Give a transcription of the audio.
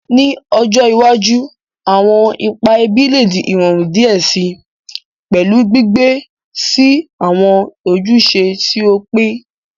Ni ojo iwaju, awọn ipa ẹbi le di irọrun diẹ sii, pẹlu gbigbe si awọn ojuse ti o pin.